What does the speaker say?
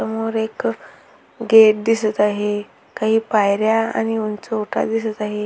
एक समोर एक गेट दिसत आहे काही पायऱ्या आणि उंच ओटा दिसत आहे.